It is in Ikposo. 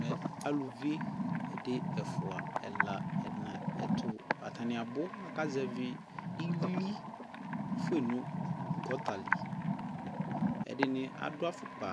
Mɛ aluvi, ɛdi, ɛfua, ɛla, ɛna, ɛtuAtani abu akazɛvi ιlι fue fa nu gɔta li Ɛdini adu afukpa,